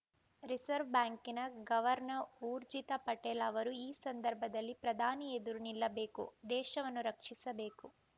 reserve ಬ್ಯಾಂಕಿನ governor Urjit Patel ಅವರು ಈ ಸಂದರ್ಭದಲ್ಲಿ ಪ್ರಧಾನಿ ಎದುರು ನಿಲ್ಲಬೇಕು ದೇಶವನ್ನು ರಕ್ಷಿಸಬೇಕು